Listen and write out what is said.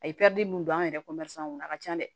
A ye mun don an yɛrɛ kɔnɔ a ka can dɛ